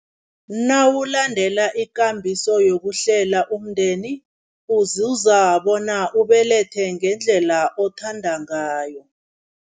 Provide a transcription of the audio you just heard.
Nawulandela ikambiso yokuhlela umndeni, uzuza bona ubelethe ngendlela othanda ngayo.